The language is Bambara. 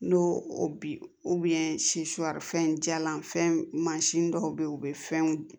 N'o o bi fɛn jalan fɛn mansin dɔw bɛ yen u bɛ fɛnw